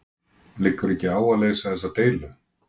Liggur ekki á að leysa þessa deilu?